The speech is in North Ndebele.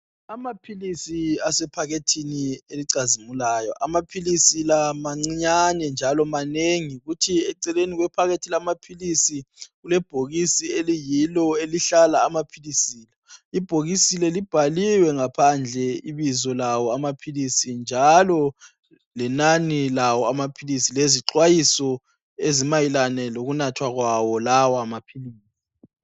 Amaphilisi asephakethini elicazimulayo, amaphilisi la mancinyane, njalo manengi! Kuthi eceleni kwephakethi lamaphilisi kulebhokisi eliyi yellow elihlala amaphilisi. Ibhokisi leli libhaliwe ngaphandle ibizo lawo amaphilisi, njalo lenani lawo, lamaphilisi. Lezixwayiso zokunathwa kwawo.